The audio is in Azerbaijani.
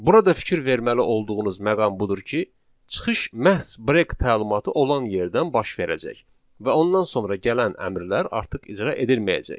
Burada fikir verməli olduğunuz məqam budur ki, çıxış məhz break təlimatı olan yerdən baş verəcək və ondan sonra gələn əmrlər artıq icra edilməyəcək.